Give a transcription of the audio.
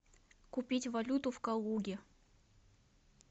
купить валюту в калуге